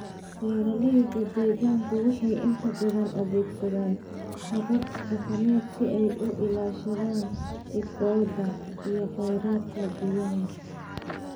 Beeraleyda deegaanku waxay inta badan adeegsadaan habab dhaqameed si ay u ilaashadaan ciiddooda iyo kheyraadka biyaha.